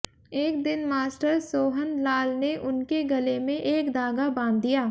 एक दिन मास्टर सोहनलाल ने उनके गले में एक धागा बांध दिया